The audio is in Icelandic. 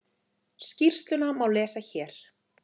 Skýrsluna má lesa hér